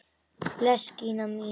Bless Gína mín!